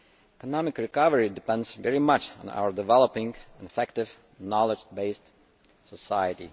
Economic recovery depends very much on our developing an effective, knowledge based society.